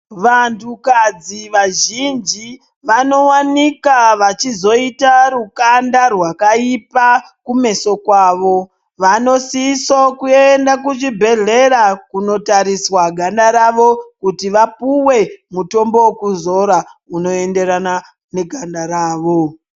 Vantukadzi vazhinji vanowanikwa vachizoita rukanda rwakaipa kumeso kwavo. Vanosise kuenda kuchibhehlera kundotariswa ganda ravo kuti vapuwe mutombo wekuzora unoenderana neganda ravo.